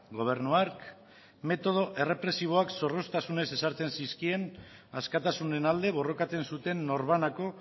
gobernu hark metodo errepresiboak zorroztasunez ezartzen zizkien askatasunen alde borrokatzen zuten norbanako